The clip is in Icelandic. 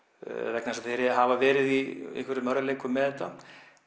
vegna þess að þeir hafa verið í einhverjum erfiðleikum með þetta